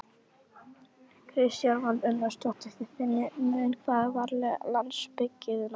Kristján Már Unnarsson: Þið finnið mun hvað varðar landsbyggðina?